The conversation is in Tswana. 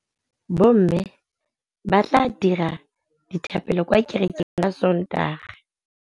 Bommê ba tla dira dithapêlô kwa kerekeng ka Sontaga.